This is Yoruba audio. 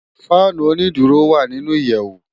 Fànú ónìdúró lé wá ninú iyèwú